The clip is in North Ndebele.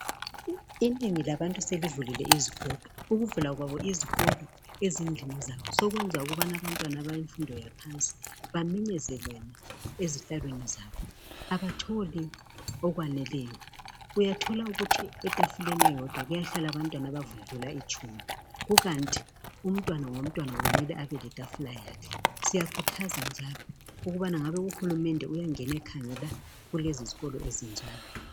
Inengi labantu selivulile izikolo. Ukuvula kwabo izokolo ezindlini zabo sokwenza ukubana abantwana abalemfundo yaphansi baminyezelene ezihlalweni zabo. Abatholi okwaneleyo. Uyathola ukuthi etafuleni eyodwa kuyahlala abantwana abadlula itshumi kukanti umntwana ngomntwana kumele abeletafula yakhe. Siyakhuthaza njalo ukubana ngabe uhulumende uyangena ekhangela kulezi zkolo ezinjalo.